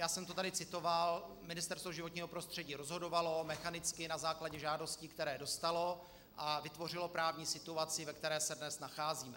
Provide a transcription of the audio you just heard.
Já jsem to tady citoval, Ministerstvo životního prostředí rozhodovalo mechanicky na základě žádostí, které dostalo, a vytvořilo právní situaci, ve které se dnes nacházíme.